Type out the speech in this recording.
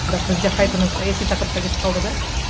бірақ бізде қайтадан саяси тақырыпқа кетіп қалды да